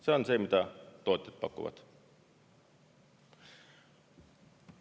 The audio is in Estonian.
See on see, mida tootjad pakuvad.